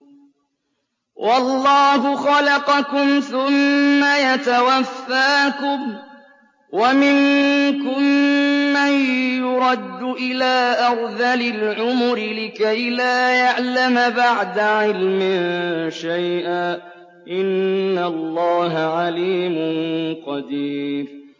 وَاللَّهُ خَلَقَكُمْ ثُمَّ يَتَوَفَّاكُمْ ۚ وَمِنكُم مَّن يُرَدُّ إِلَىٰ أَرْذَلِ الْعُمُرِ لِكَيْ لَا يَعْلَمَ بَعْدَ عِلْمٍ شَيْئًا ۚ إِنَّ اللَّهَ عَلِيمٌ قَدِيرٌ